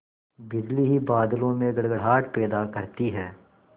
बिजली ही बादलों में गड़गड़ाहट पैदा करती है